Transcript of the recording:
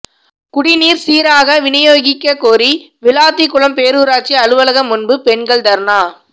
குடிநீர் சீராக விநியோகிக்க கோரி விளாத்திகுளம் பேரூராட்சி அலுவலகம் முன்பு பெண்கள் தர்ணா